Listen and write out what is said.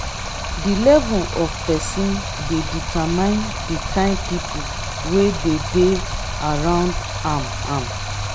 di level of persin de determine di kind pipo wey de dey around am am